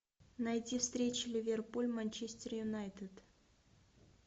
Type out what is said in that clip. найти встречу ливерпуль манчестер юнайтед